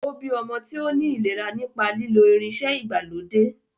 Ó bí ọmọ tí ó ní ìlera nípa lílo irinṣẹ́ ìgbàlódé.